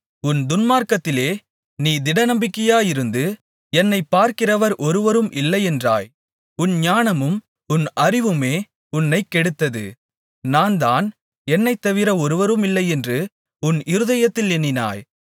உன் துன்மார்க்கத்திலே நீ திடநம்பிக்கையாயிருந்து என்னைப் பார்க்கிறவர் ஒருவரும் இல்லையென்றாய் உன் ஞானமும் உன் அறிவுமே உன்னைக் கெடுத்தது நான்தான் என்னைத் தவிர ஒருவருமில்லையென்று உன் இருதயத்தில் எண்ணினாய்